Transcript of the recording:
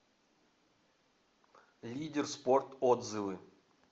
лидер спорт отзывы